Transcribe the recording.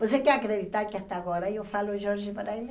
Você quer acreditar que até agora eu falo Jorge para ele?